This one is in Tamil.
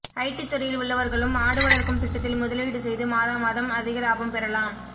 ஐடி துறையில் உள்ளவர்களும் ஆடு வளர்க்கும் திட்டத்தில் முதலீடு செய்து மாதாமாதம் அதிக லாபம் பெறலாம்